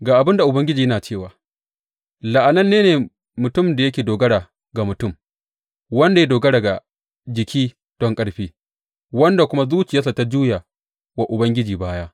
Ga abin da Ubangiji yana cewa, La’ananne ne mutumin da yake dogara ga mutum, wanda ya dogara ga jiki don ƙarfi wanda kuma zuciyarsa ta juya wa Ubangiji baya.